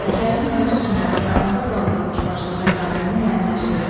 Hekayənin mövzusunu və onda qaldırılmış başlıca problemi müəyyənləşdirin.